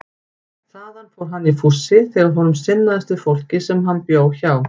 Þaðan fór hann í fússi þegar honum sinnaðist við fólkið sem hann bjó hjá.